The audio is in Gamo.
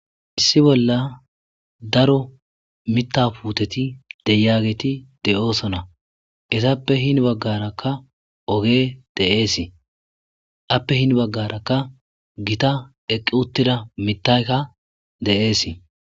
issi bolla daro mitapuuteti deyageeti de7oosona esappe hin baggarakka oge de7eesii appe hin baggarakka gita eqqi uttida mitaykka de7eesi